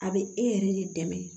A bɛ e yɛrɛ de dɛmɛ